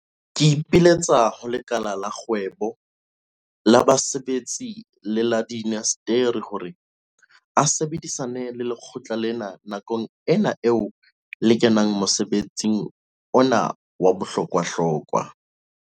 Ke ipiletsa ho lekala la kgwebo, la basebetsi le la diinasteri hore a sebedisane le lekgotla lena nakong ena eo le kenang mosebetsing ona wa bohlokwahlokwa.